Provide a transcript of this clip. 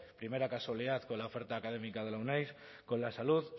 primera casualidad con la oferta académica de la euneiz con la salud